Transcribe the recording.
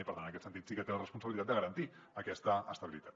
i per tant en aquest sentit sí que té la responsabilitat de garantir aquesta estabilitat